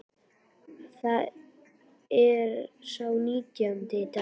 Það er sá nítjándi í dag.